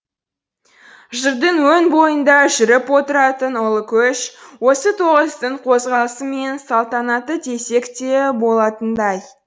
жырдың өн бойында жүріп отыратын ұлы көш осы тоғыстың қозғалысы мен салтанаты десек те болатындай